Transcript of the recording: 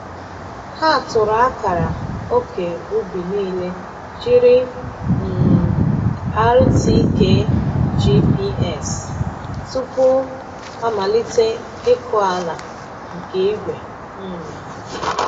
Ha tụrụ akara ókè ubi niile jiri um RTK GPS tupu a malite ịkụ ala nke igwe. um